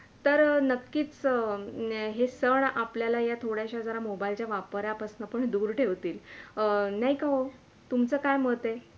तर नक्कीच हे सण आपल्याला थोड्याश्या मोबईलच्या वापरा पासून जरा दूर ठेवतील अं नाय का हो? तुमचं काय मत आहे?